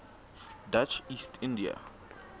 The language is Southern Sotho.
dutch east india